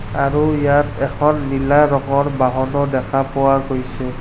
আৰু ইয়াত এখন নীলা ৰঙৰ বাহনো দেখা পোৱা গৈছে।